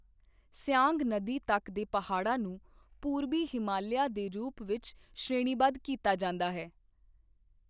ਸਿਆਂਗ ਨਦੀ ਤੱਕ ਦੇ ਪਹਾੜਾਂ ਨੂੰ ਪੂਰਬੀ ਹਿਮਾਲਿਆ ਦੇ ਰੂਪ ਵਿੱਚ ਸ਼੍ਰੇਣੀਬੱਧ ਕੀਤਾ ਜਾਂਦਾ ਹੈ।